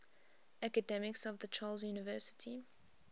academics of the charles university